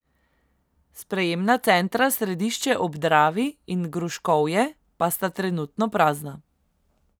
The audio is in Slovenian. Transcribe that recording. Sprejemna centra Središče ob Dravi in Gruškovje pa sta trenutno prazna.